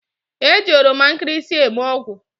E ji oromankirisi eme ogwu